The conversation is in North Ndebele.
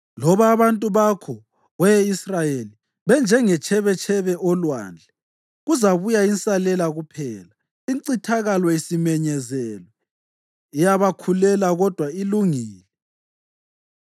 Loba abantu bakho, we Israyeli, benjengetshebetshebe olwandle, kuzabuya insalela kuphela. Incithakalo isimenyezelwe, iyabakhulela kodwa ilungile.